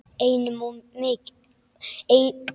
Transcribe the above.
Einum of mikið.